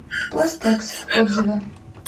пластекс отзывы